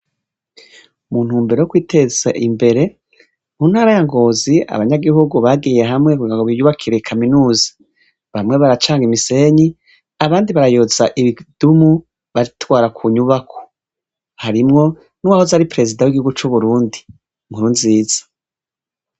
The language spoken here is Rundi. Muntumbero yo kwiteza imbere, mu ntara ya Ngozi abanyagihugu bagiye hamwe ngo biyubakire kaminuza, bamwe baracanga imisenyi, abandi barayoza ibidumu batwara ku nyubako, harimwo nuwahoze ari perezida w'igihugu c'u Burundi Nkurunziza.